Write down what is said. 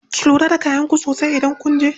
Ku lura da kayan ku sosai idan kunje.